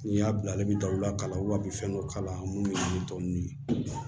N'i y'a bila ale bɛ da u la kalaw bɛ fɛn dɔ kala minnu ye tɔ ninnu ye